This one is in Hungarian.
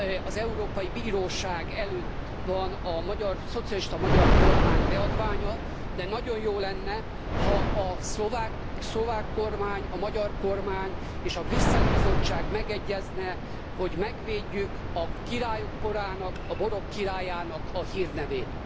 Az Európai Bíróság előtt van a szocialista magyar kormány beadványa, de nagyon jó lenne, ha a szlovák kormány, a magyar kormány és a brüsszeli Bizottság megegyezne, hogy megvédjük a királyok borának, a borok királyának a hírnevét.